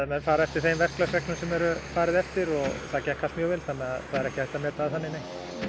menn fara eftir þeim verklagsreglum sem er farið eftir það gekk allt mjög vel þannig það er ekki hægt að meta það þannig nei